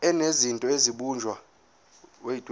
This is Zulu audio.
enezinto ezabunjwa emandulo